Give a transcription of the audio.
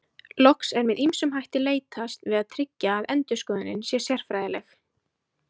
Loks er með ýmsum hætti leitast við að tryggja að endurskoðunin sé sérfræðileg.